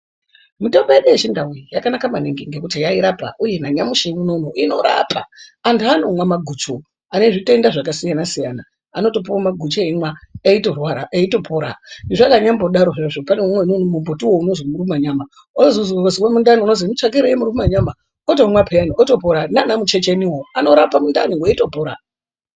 Mitombo yedu yechindau yakanaka maningi ngekuti yairapa nanyamushi unou inorapa. Antu anomwa maguchu ane zvitenda zvakasiyana siyana, anotopuwa maguchu eimwa eitopona. Zveinya mbodaro pane umweni mumbuti unozwi murumanyama, unozwi wazwa mundani kunozwi mutsvakirei muruma nyama otomwa peyani otopora, naana muchecheniwo anorape mundani, weitopora.